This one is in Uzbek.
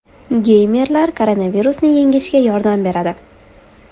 Geymerlar koronavirusni yengishga yordam beradi.